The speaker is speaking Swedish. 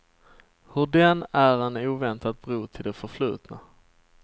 Hur den är en oväntat bro till det förflutna.